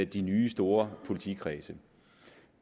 de nye store politikredse